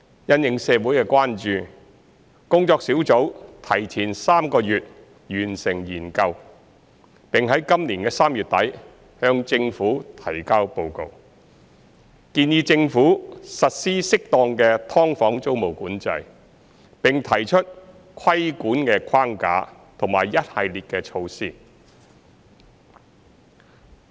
因應社會的關注，工作小組提前3個月完成研究，並在今年3月底向政府提交報告，建議政府實施適當的"劏房"租務管制，並提出規管框架和一系列的措施。